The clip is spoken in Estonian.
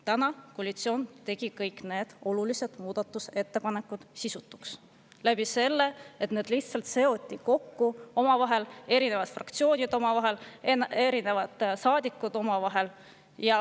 Täna koalitsioon tegi kõik need olulised muudatusettepanekud sisutuks selle abil, et need lihtsalt seoti omavahel kokku: erinevate fraktsioonide omad omavahel ja ka erinevate saadikute omad omavahel.